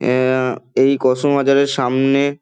অ্যাঁ এ এই কসমো বাজারের সামনে--